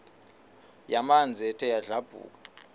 yamanzi ethe yadlabhuka